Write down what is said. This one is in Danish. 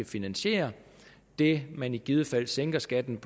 finansiere det man i givet fald sænker skatten